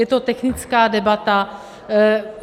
Je to technická debata.